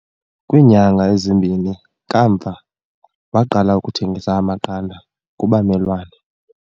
Kwiinyanga ezimbini kamva, waqala ukuthengisa amaqanda kubamelwane.